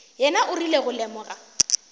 yena o rile go lemoga